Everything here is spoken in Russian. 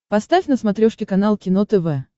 поставь на смотрешке канал кино тв